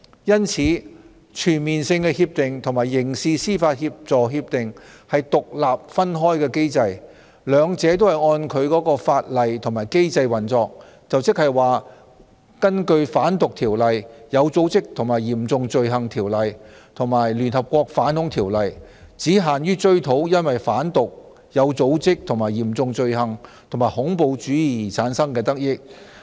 因此，全面性協定和刑事司法協助協定是獨立分開的機制，兩者均按其法例和機制運作，即根據《販毒條例》、《有組織及嚴重罪行條例》、《聯合國條例》，只限於追討因販毒、有組織及嚴重罪行，以及恐怖主義產生的得益。